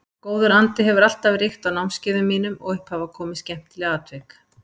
Góður andi hefur alltaf ríkt á námskeiðum mínum og upp hafa komið skemmtileg atvik.